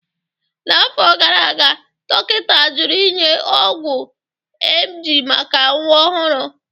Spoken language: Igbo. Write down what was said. N'afọ gara aga, dọkịta jụrụ inye ọgwụ emgyl maka nwa ọhụrụ